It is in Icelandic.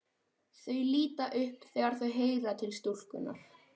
Þau líta upp þegar þau heyra til stúlkunnar.